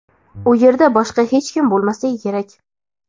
u yerda boshqa hech kim bo‘lmasligi kerak.